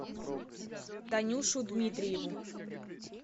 танюшу дмитриеву